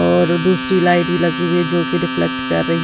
और दूसरी लाइट भी लगी हुई है जो कि रिफ्लेक्ट कर रही--